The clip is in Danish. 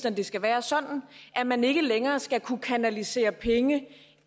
at det skal være sådan at man ikke længere skal kunne kanalisere penge